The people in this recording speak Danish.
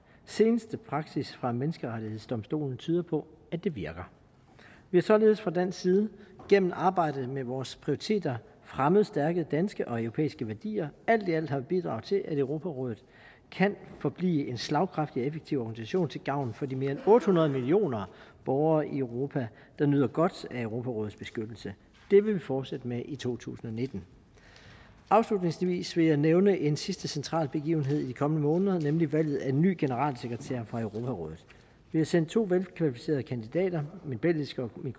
seneste praksis fra menneskerettighedsdomstolen tyder på at det virker vi har således fra dansk side gennem arbejdet med vores prioriteter fremmet stærke danske og europæiske værdier alt i alt har vi bidraget til at europarådet kan forblive en slagkraftig og effektiv organisation til gavn for de mere end otte hundrede millioner borgere i europa der nyder godt af europarådets beskyttelse det vil vi fortsætte med i to tusind og nitten afslutningsvis vil jeg nævne en sidste central begivenhed i de kommende måneder nemlig valget af en ny generalsekretær for europarådet vi har sendt to velkvalificerede kandidater min belgiske og min